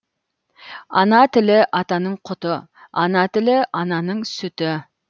ана тілі атаның құты ана тілі ананың сүті